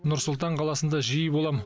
нұр сұлтан қаласында жиі болам